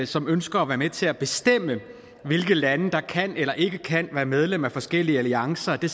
som ønsker at være med til at bestemme hvilke lande der kan eller ikke kan være medlem af forskellige alliancer det